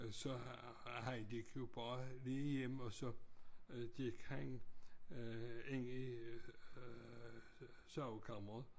Så han gik jo bare lige hjem og så gik han ind i sovekammeret